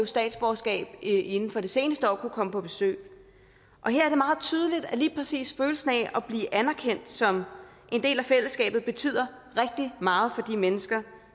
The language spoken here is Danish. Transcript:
statsborgerskab inden for det seneste år kunne komme på besøg og her er det meget tydeligt at lige præcis følelsen af at blive anerkendt som en del af fællesskabet betyder rigtig meget for de mennesker